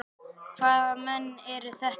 Hvaða menn eru þetta?